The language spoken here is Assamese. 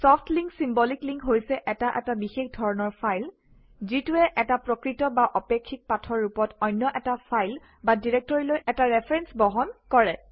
ছফ্ট লিংক চিম্বলিক লিংক হৈছে এটা এটা বিশেষ ধৰণৰ ফাইল যিটোৱে এটা প্ৰকৃত বা আপেক্ষিক পাথৰ ৰূপত অন্য এটা ফাইল বা ডিৰেক্টৰীলৈ এটা ৰেফাৰেন্স বহন কৰে